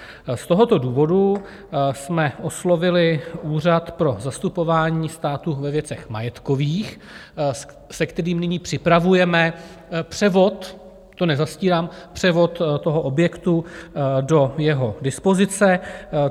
Z tohoto důvodu jsme oslovili Úřad pro zastupování státu ve věcech majetkových, se kterým nyní připravujeme převod, to nezastírám, převod toho objektu do jeho dispozice.